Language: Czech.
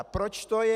A proč to je.